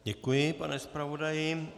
Děkuji, pane zpravodaji.